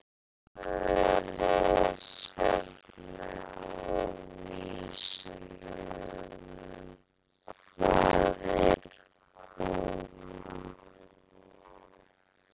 Frekara lesefni á Vísindavefnum: Hvað er kona?